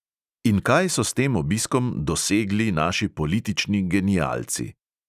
In kaj so s tem obiskom "dosegli" naši politični genialci?